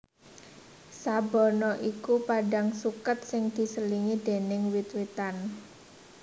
Sabana iku padhang suket sing diselingi déning wit witan